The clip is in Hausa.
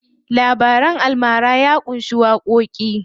Labaran almara ya ƙunshi waƙoƙi.